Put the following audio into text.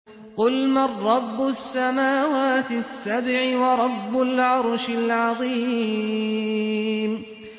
قُلْ مَن رَّبُّ السَّمَاوَاتِ السَّبْعِ وَرَبُّ الْعَرْشِ الْعَظِيمِ